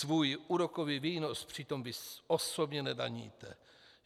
Svůj úrokový výnos přitom vy osobně nedaníte.